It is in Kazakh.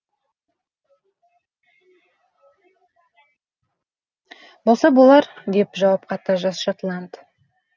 болса болар деп жауап қатты жас шотланд